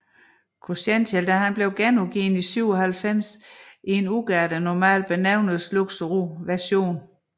Cruzential blev genudgivet i 1997 i en udgave der normal benævnes Luxury Version